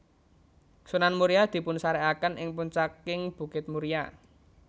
Sunan Muria dipunsarékaken ing puncaking bukit Muria